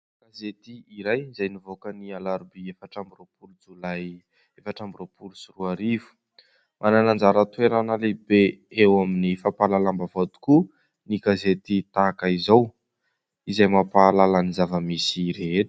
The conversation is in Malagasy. Gazety iray izay nivoaka ny alarobia efatra amby roapolo jolay efatra amby roapolo sy roa arivo. Manana anjara toerana lehibe eo amin'ny fampahalalam-baovao tokoa ny gazety tahaka izao. Izay mampahalala ny zava-misy rehetra.